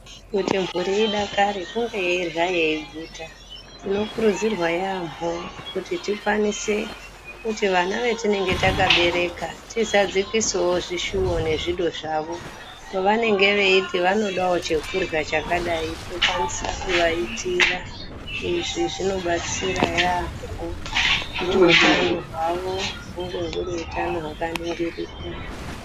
Kuti mhuri idakare kunge yeirya yeiguta. Tinokurudzirwa yaambo kuti tikwanise kuti vana vetinenge takabereka tizadzikisewo zvishuwo nezvido zvavo. Pavanenge veiti vanodawo chekurya chakadai tokwanise kuvaitira. Izvi zvinobatsira yaambo kuti utano hwavo hunge huri utano hwakamiririka.